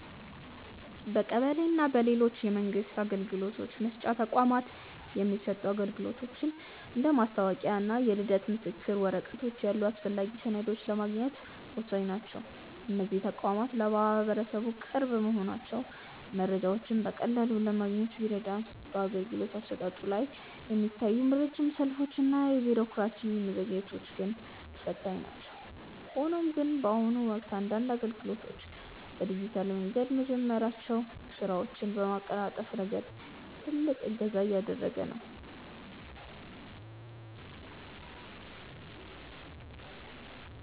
በቀበሌ እና በሌሎች የመንግስት አገልግሎት መስጫ ተቋማት የሚሰጡ አገልግሎቶች እንደ መታወቂያ እና የልደት ምስክር ወረቀት ያሉ አስፈላጊ ሰነዶችን ለማግኘት ወሳኝ ናቸው። እነዚህ ተቋማት ለማህበረሰቡ ቅርብ መሆናቸው መረጃዎችን በቀላሉ ለማግኘት ቢረዳም፣ በአገልግሎት አሰጣጡ ላይ የሚታዩት ረጅም ሰልፎች እና የቢሮክራሲ መዘግየቶች ግን ፈታኝ ናቸው። ሆኖም ግን፣ በአሁኑ ወቅት አንዳንድ አገልግሎቶች በዲጂታል መንገድ መጀመራቸው ስራዎችን በማቀላጠፍ ረገድ ትልቅ እገዛ እያደረገ ነው።